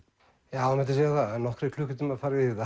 já það mætti segja það að nokkrir klukkutímar farið